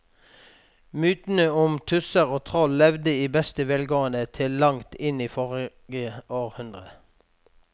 Mytene om tusser og troll levde i beste velgående til langt inn i forrige århundre.